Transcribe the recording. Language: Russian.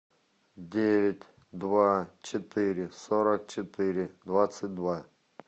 девять два четыре сорок четыре двадцать два